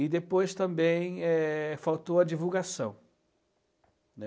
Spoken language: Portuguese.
E depois também é faltou a divulgação, né?